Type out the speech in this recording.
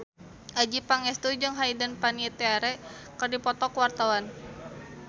Adjie Pangestu jeung Hayden Panettiere keur dipoto ku wartawan